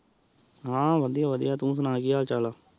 ਹਾਂ ਵਧੀਆ ਵਧੀਆ, ਤੂ ਸੁਣਾ ਕੀ ਹਾਲ ਚਾਲ ਐ?